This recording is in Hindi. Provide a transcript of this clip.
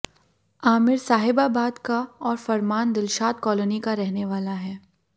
आमिर साहिबाबाद का और फरमान दिलशाद कॉलोनी का रहने वाला है